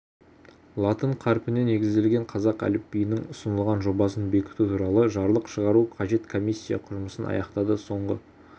латын қарпіне негізделген қазақ әліпбиінің ұсынылған жобасын бекіту туралы жарлық шығару қажет комиссия жұмысын аяқтады соңғы